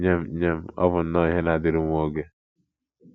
Nye m, Nye m, ọ bụ nnọọ ihe na - adịru nwa oge.